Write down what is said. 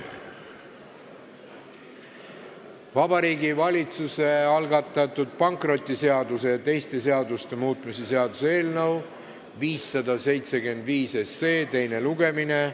Vabariigi Valitsuse algatatud pankrotiseaduse ja teiste seaduste muutmise seaduse eelnõu 575 teine lugemine.